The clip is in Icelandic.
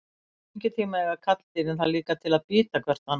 Á fengitíma eiga karldýrin það líka til að bíta hvert annað.